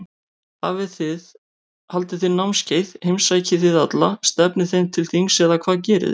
Haldið þið námskeið, heimsækið þið alla, stefnið þeim til þings eða hvað gerið þið?